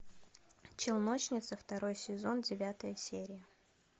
челночницы второй сезон девятая серия